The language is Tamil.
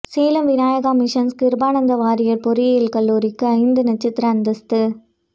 சேலம் விநாயகா மிஷன்ஸ் கிருபானந்த வாரியாா் பொறியியல் கல்லூரிக்கு ஐந்து நட்சத்திர அந்தஸ்து